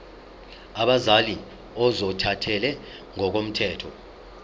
abazali ozothathele ngokomthetho